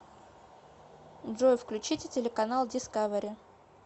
джой включите телеканал дискавери